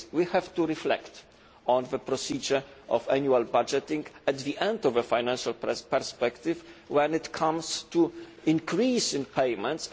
6. We have to reflect on the procedure of annual budgeting at the end of a financial perspective in terms of an increase in payments.